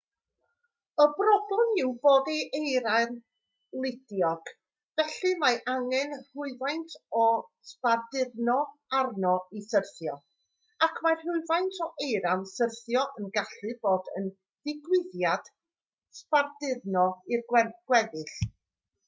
y broblem yw bod eira'n ludiog felly mae angen rhywfaint o sbarduno arno i syrthio ac mae rhywfaint o eira'n syrthio yn gallu bod yn ddigwyddiad sbarduno i'r gweddill